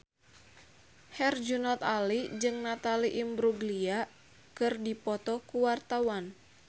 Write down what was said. Herjunot Ali jeung Natalie Imbruglia keur dipoto ku wartawan